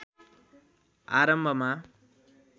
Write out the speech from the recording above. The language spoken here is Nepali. आरम्भमा